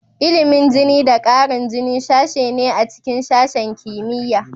Ilimin jini da ƙarin jini sashe ne a cikin sashen kimiyya.